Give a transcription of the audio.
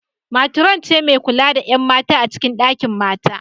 Metron ce mai kula da ƴan mata a cikin dakin mata